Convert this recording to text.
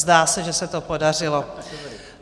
Zdá se, že se to podařilo.